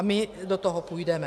A my do toho půjdeme.